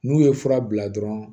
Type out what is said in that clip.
N'u ye fura bila dɔrɔn